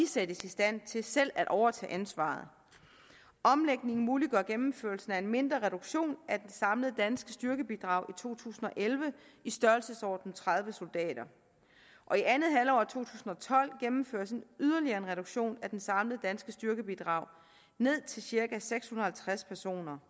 sættes i stand til selv at overtage ansvaret omlægningen muliggør gennemførelsen af en mindre reduktion af det samlede danske styrkebidrag i to tusind og elleve i størrelsesordenen tredive soldater og i andet halvår af to tusind og tolv gennemføres en yderligere reduktion af det samlede danske styrkebidrag ned til cirka seks hundrede og halvtreds personer